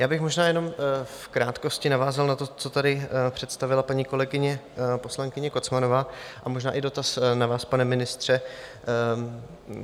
Já bych možná jenom v krátkosti navázal na to, co tady představila paní kolegyně poslankyně Kocmanová, a možná i dotaz na vás, pane ministře.